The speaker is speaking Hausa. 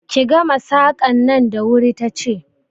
Ki gama Saƙan nan da wuri ta ce!